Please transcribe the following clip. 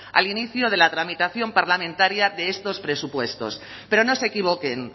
al inicio de la tramitación parlamentaria de estos presupuestos pero no se equivoquen